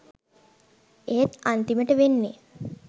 ඒත් අන්තිමට වෙන්නේ